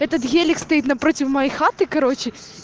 этот гелик стоит напротив моей хаты короче